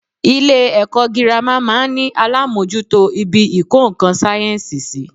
Ilé èkó girama máa n ní alámójútó ibi ìkó nkan sáyènsì sí